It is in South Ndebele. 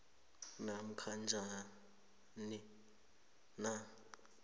namkha njani na